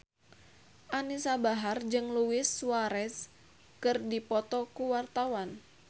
Anisa Bahar jeung Luis Suarez keur dipoto ku wartawan